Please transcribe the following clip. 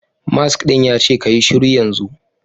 Mask din yace kayi shiru yanzu